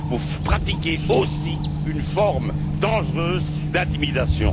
Vous pratiquez aussi une forme dangereuse d'intimidation.